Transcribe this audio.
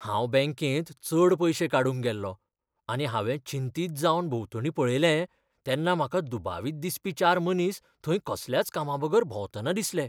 हांव बॅंकेत चड पयशे काडूंक गेल्लों आनी हांवें चिंतीत जावन भोंवतणी पळयलें तेन्ना म्हाका दुबावित दिसपी चार मनीस थंय कसल्याच कामाबगर भोंवतना दिसले.